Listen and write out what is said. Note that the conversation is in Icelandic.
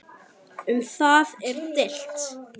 Um það er deilt.